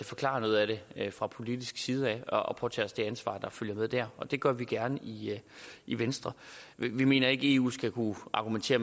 forklare noget af det fra politisk side og påtage os det ansvar der følger med der og det gør vi gerne i venstre vi mener ikke at eu skal kunne argumentere